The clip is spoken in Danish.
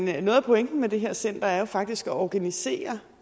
noget af pointen med det her center er jo faktisk at organisere